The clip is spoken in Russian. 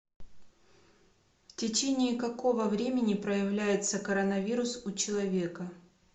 в течении какого времени проявляется коронавирус у человека